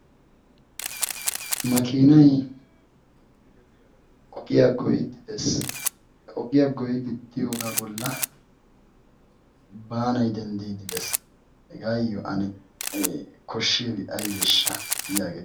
makiinay ogiyaa goyiddi dees he ogiyaa goyidi diyoogaa bolla baanay denddiiddi dees hegaayyo ane koshshiyaabi aibeeshsha yaage